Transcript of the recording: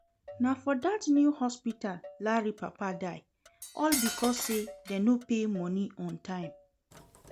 Na for dat new hospital Larry papa die all because say dem no pay money on time